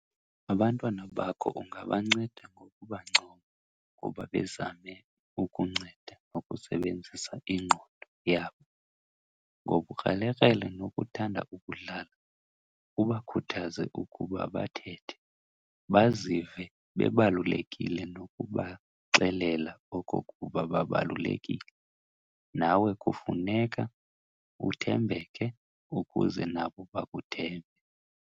Abantwana bakho ungabanceda ngokubancoma kuba bezame ukunceda nokusebenzisa ingqondo yabo, ngobukrelekrele nokuthanda ukudlala, ubakhuthaze ukuba bathethe, bazive bebalulekile nokubaxelela okokuba babalulekile, nawe kufuneka uthembeke ukuze nabo bakuthembe.